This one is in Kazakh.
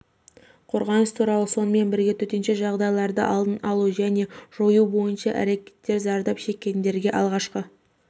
қорғаныс туралы сонымен бірге төтенше жағдайларды алдын алу және жою бойынша әрекеттер зардап шеккендерге алғашқы